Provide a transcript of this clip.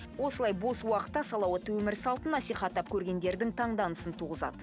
осылай бос уақытта салауатты өмір салтын насихаттап көргендердің таңданысын туғызады